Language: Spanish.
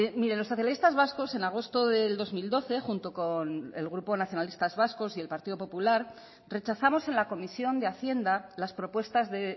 mire los socialistas vascos en agosto del dos mil doce junto con el grupo nacionalistas vascos y el partido popular rechazamos en la comisión de hacienda las propuestas de